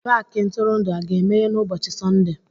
Paakị ntụrụndụ a ga-emeghe n'ụbọchi Sọnde?